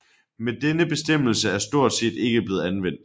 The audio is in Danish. Men denne bestemmelse er stort set ikke blevet anvendt